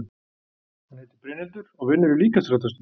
Hún heitir Brynhildur og vinnur í líkamsræktarstöð.